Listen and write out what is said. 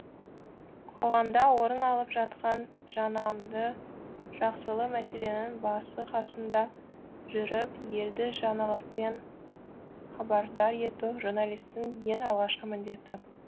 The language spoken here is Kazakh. қоғамда орын алып жатқан жаманды жақсылы мәселенің басы қасында жүріп елді жаңалықпен хабардар ету журналистің ең алғашқы міндеті